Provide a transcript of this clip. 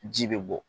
Ji bɛ bɔ